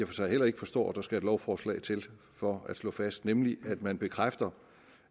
for sig heller ikke forstår der skal et lovforslag til for at slå fast nemlig at man bekræfter